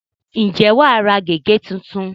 ǹjẹ́ wà á ra gègé tuntun?